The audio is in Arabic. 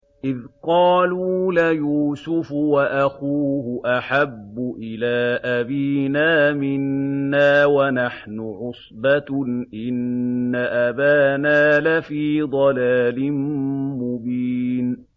إِذْ قَالُوا لَيُوسُفُ وَأَخُوهُ أَحَبُّ إِلَىٰ أَبِينَا مِنَّا وَنَحْنُ عُصْبَةٌ إِنَّ أَبَانَا لَفِي ضَلَالٍ مُّبِينٍ